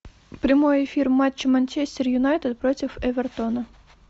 прямой эфир матча манчестер юнайтед против эвертона